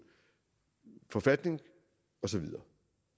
forfatning og så videre